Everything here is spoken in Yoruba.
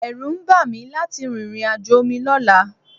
Ẹ̀rù ń bà mí láti rìnrìn àjò omi lọ́la